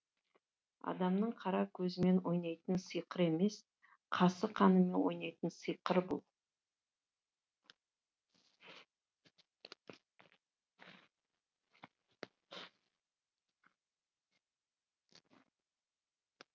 адамның қара көзімен ойнайтын сиқыр емес қасық қанымен ойнайтын сиқыр бұл